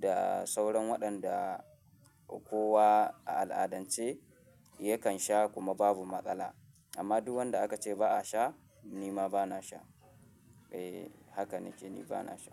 da sauran waɗanda kowa a al'adance yakan sha kuma babu matsala amma duk wanda aka ce ba a sha nima bana sha. Eh haka nake, ni bana sha.